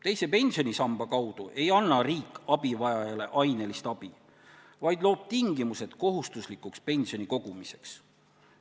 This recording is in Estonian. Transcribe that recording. Teise pensionisamba kaudu ei anna riik abivajajale ainelist abi, vaid loob tingimused kohustuslikuks pensionikogumiseks.